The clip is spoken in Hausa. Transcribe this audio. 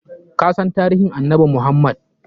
Kasan tarihin annabi Muhammad?